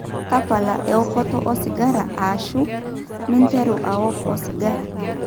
tapala eokoto osigara aashu minterru aok osigara